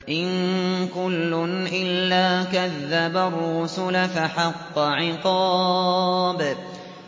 إِن كُلٌّ إِلَّا كَذَّبَ الرُّسُلَ فَحَقَّ عِقَابِ